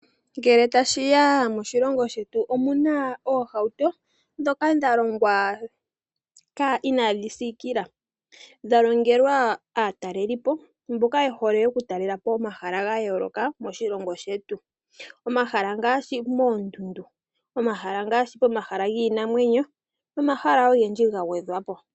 Ngele ta shi ya moshilongo shetu, omuna oohauto ndhoka dha longwa inaadhi siikila, dha longelwa aatalelipo mboka ye hole okutalelapo omahala ga yooloka moshilongo shetu. Omahala ngaashi moondundu, omahala giinamwenyo nomahala ogendji ga gwedhwa po.